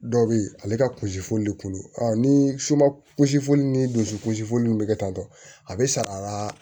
Dɔw bɛ yen ale ka kunsi foli bɛ kulu ni suba kunsi fɔli ni dusukunsifɔliw bɛ kɛ tan tɔ a bɛ saga